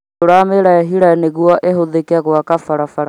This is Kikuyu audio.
Tũramĩrehire nĩguo ihũthĩke gwaka barabara